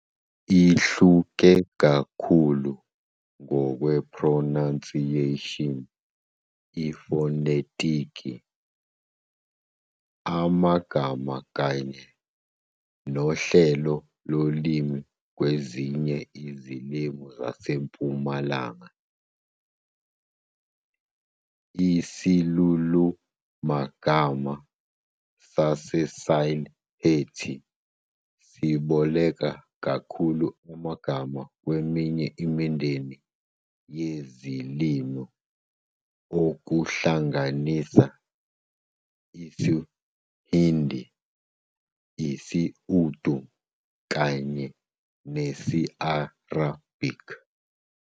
Ihluke kakhulu ngokwe-pronunciation, ifonetiki, magama kanye uhlelo lolimi kwezinye izilimi zaseMpumalanga. Isilulumagama se-Sylheti siboleka kakhulu amagama kweminye imindeni yezilimi, okuhlanganisa isi-Hindi, isi-Urdu kanye nesi-Arabic.